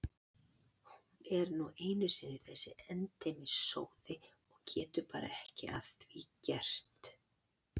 Hún er nú einu sinni þessi endemis sóði og getur bara ekki að því gert.